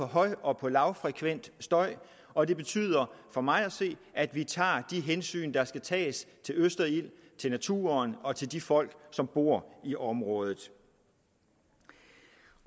høj og lavfrekvent støj og det betyder for mig at se at vi tager de hensyn der skal tages til østerild til naturen og til de folk som bor i området